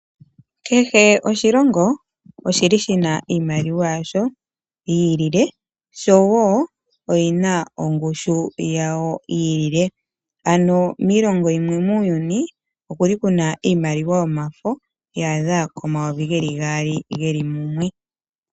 Kehe oshilongo oshili shina iimaliwa yasho yi ilile oshowo oyina ongushu yawo yilile. Ano miilongo yimwe muuyuni okuli kuna iimaliwa yomafo ya adha 2000 geli mumwe.